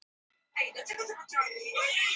Oft fer þetta saman.